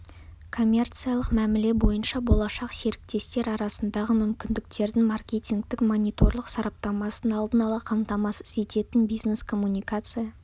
коммерциялық мәміле бойынша болашақ серіктестер арасындағы мүмкіндіктердің маркетингтік-мониторлық сараптамасын алдын ала қамтамасыз ететін бизнес-коммуникация